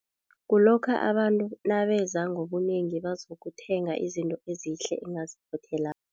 Kulokha abantu nabeza ngobunengi bazokuthenga izinto ezihle engaziphothelako.